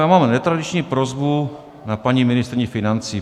Já mám netradiční prosbu na paní ministryni financí.